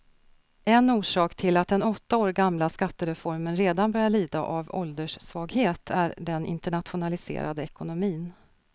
En orsak till att den åtta år gamla skattereformen redan börjar lida av ålderssvaghet är den internationaliserade ekonomin.